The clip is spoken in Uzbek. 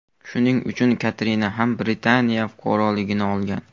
Shuning uchun Katrina ham Britaniya fuqaroligini olgan.